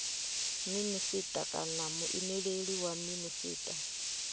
minisita kana muimeleli wa minisita